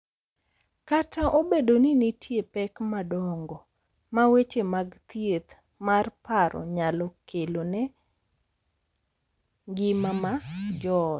Kata obedo ni nitie pek madongo ma weche mag thieth mar paro nyalo kelo ne ngima mar joot,